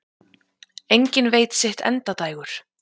Enginn veit sitt endadægur.